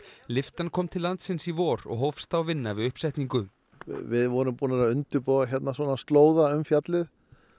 lyftan kom til landsins í vor og hófst þá vinna við uppsetningu við vorum búnir að undirbúa svona slóða um fjallið